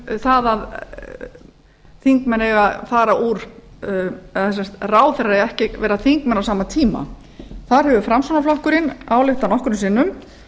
um það að ráðherrar eigi ekki að vera þingmenn á sama tíma þar hefur framsóknarflokkurinn ályktað nokkrum sinnum